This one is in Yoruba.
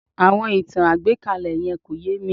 Àwọn ìtàn àgbékalẹ̀ yẹn kò yé mi